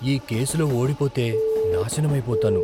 ఈ కేసులో ఓడిపోతే నాశనమైపోతాను.